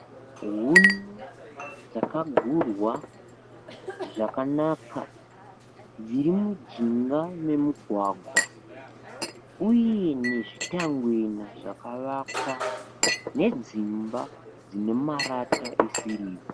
Huni dzakagurwa zvakanaka dziri mujinga memugwagwa uye nezvitangwena zvakavakwa nedzimba dzine marata esirivha.